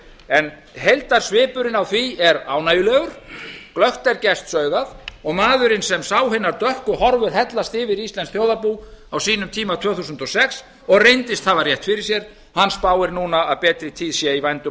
en heildarsvipurinn á því er ánægjulegur glöggt er gests augað og maðurinn sem sá hinar dökku horfur hellast yfir íslenskt þjóðarbú á sínum tíma tvö þúsund og sex og reyndist hafa rétt fyrir sér hann spáir núna að betri tíð sé í vændum á